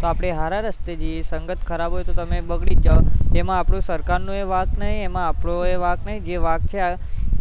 તો આપડે સારે રસ્તે જઈએ સંગત ખરાબ હોય તો આપડે બગડી એ જઈએ એમાં સરકાર નો પણ વાંક એમાં આપણો પણ વાંક નહીં જે વાંક જે